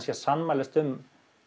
að sammælast um